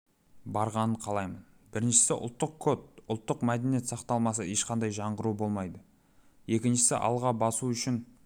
барғанын қалаймын біріншісі ұлттық код ұлттық мәдениет сақталмаса ешқандай жаңғыру болмайды екіншісі алға басу үшін